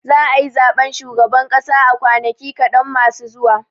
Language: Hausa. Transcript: Za a yi zaɓen shugaban ƙasa a kwanaki kaɗan masu zuwa.